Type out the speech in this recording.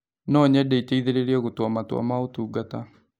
no nyende ĩteĩthĩrĩrĩe gũtũaa matua ma ũtugata